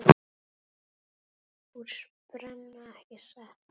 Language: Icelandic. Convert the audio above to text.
Hús brenna, ekki satt?